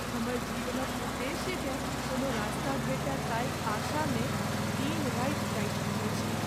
हमर जीवनक उद्देश्यकेँ कोनो रास्ता भेटय ताहि आशामे दिन राति काटि रहल छी।